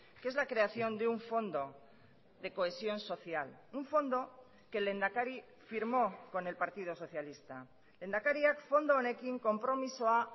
que es la creación de un fondo de cohesión social un fondo que el lehendakari firmó con el partido socialista lehendakariak fondo honekin konpromisoa